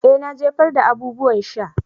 Eh na jefar da abubuwan sha.